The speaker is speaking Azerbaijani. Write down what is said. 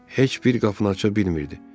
Heç bir qapını aça bilmirdi.